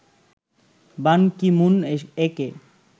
বান Ki Moon একে